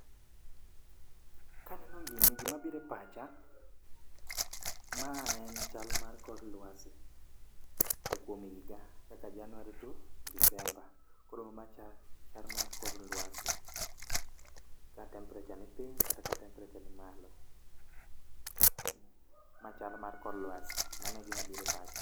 Kaneno gini gima biro e pacha, ma en chal mar kor lwasi e kuom higa kaka January to December. Koro ma chal mar kor lwasi ka temperature ni piny kata temperature ni malo. Ma chal mar kor lwasi, mano egima biro e pacha